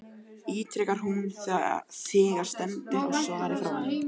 ítrekar hún þegar stendur á svari frá honum.